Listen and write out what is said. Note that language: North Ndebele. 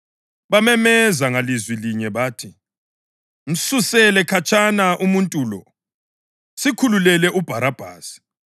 Bamemeza ngalizwi linye bathi, “Msusele khatshana umuntu lo! Sikhululele uBharabhasi!”